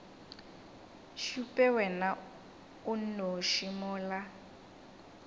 šupe wena o nnoši mola